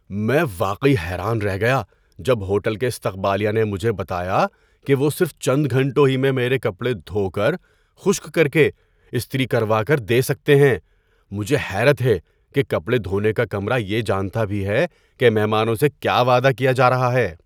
میں واقعی حیران رہ گیا جب ہوٹل کے استقبالیہ نے مجھے بتایا کہ وہ صرف چند گھنٹوں ہی میں میرے کپڑے دھو کر، خشک کر کے استری کر وال دے سکتے ہیں۔ مجھے حیرت ہے کہ کپڑے دھونے کا کمرہ یہ جانتا بھی ہے کہ مہمانوں سے کیا وعدہ کیا جا رہا ہے۔